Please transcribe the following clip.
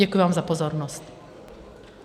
Děkuji vám za pozornost.